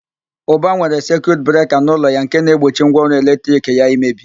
Ụba nwere sekiut breka n'ụlọ ya nke na-egbochi ngwaọrụ eletrik ya imebi.